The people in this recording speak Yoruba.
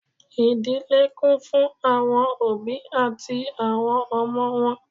Ìdílé kún fún àwọn òbí àti àwọn ọmọ wọn